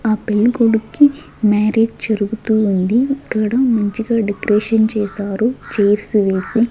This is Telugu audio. ఆ పెళ్ళి కొడుక్కి మ్యారేజ్ జరుగుతూ ఉంది ఇక్కడ మంచిగా డెక్రేషన్ చేశారు చేర్స్ వేసి.